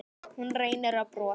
Hún reynir að brosa.